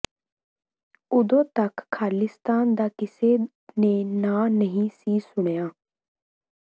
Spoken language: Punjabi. ਓਦੋਂ ਤੱਕ ਖਾਲਿਸਤਾਨ ਦਾ ਕਿਸੇ ਨੇ ਨਾਂਅ ਨਹੀਂ ਸੀ ਸੁਣਿਆ